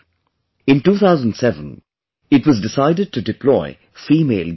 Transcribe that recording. In 2007, it was decided to deploy female guards